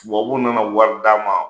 Tubabuw nana wari d'a ma,